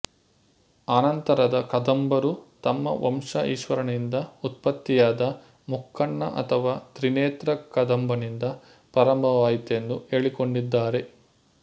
ಅನಂತರದ ಕದಂಬರು ತಮ್ಮ ವಂಶ ಈಶ್ವರನಿಂದ ಉತ್ಪತ್ತಿಯಾದ ಮುಕ್ಕಣ್ಣ ಅಥವಾ ತ್ರಿನೇತ್ರ ಕದಂಬನಿಂದ ಪ್ರಾರಂಭವಾಯಿತೆಂದು ಹೇಳಿಕೊಂಡಿದ್ದಾರೆ